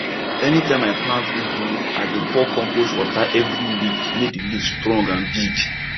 anytime i plant ugu i dey pour compost water every week make the leaf strong and big